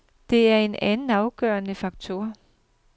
Det er en anden afgørende faktor.